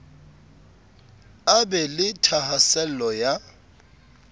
a be le thahasello ya